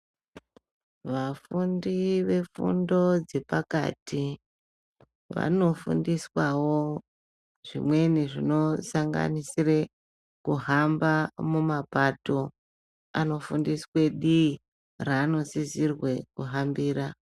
Vafundi ve fundo dze pakati vano fundiswawo zvimweni zvino sanganisire kuhamba mu mapato ano fundiswe dii ra ano sisirwe kuhambira.